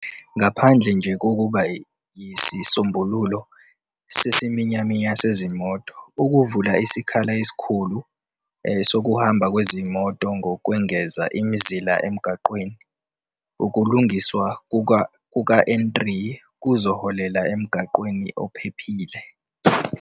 "Ngaphandle nje kokuba yisisombululo sesiminyaminya sezimoto, ukuvula isikhala esikhulu sokuhamba kwezimoto ngokwengeza imizila emgwaqeni, ukulungiswa kuka-N3 kuzoholela emgwaqeni ophephile."